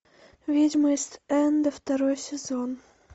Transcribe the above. ведьмы ист энда второй сезон